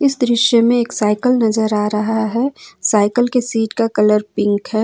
इस दृश्य में एक साइकल नजर आ रहा है साइकल के सीट का कलर पिंक है।